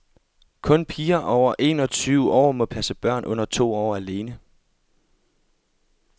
Kun piger over en og tyve år må passe børn under to år alene.